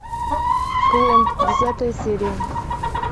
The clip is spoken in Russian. клон десятая серия